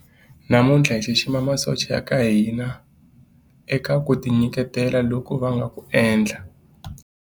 Namuntlha hi xixima masocha ya ka hina eka ku tinyiketela loku va nga ku endla.